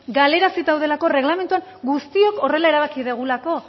galarazita daudelako erregelamenduan guztiok horrela erabaki dugulako